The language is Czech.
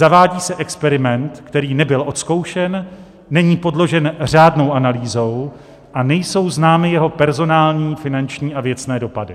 Zavádí se experiment, který nebyl odzkoušen, není podložen řádnou analýzou a nejsou známy jeho personální, finanční a věcné dopady.